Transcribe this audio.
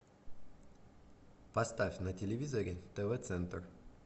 поставь на телевизоре тв центр